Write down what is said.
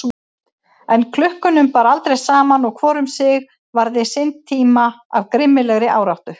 En klukkunum bar aldrei saman og hvor um sig varði sinn tíma af grimmilegri áráttu.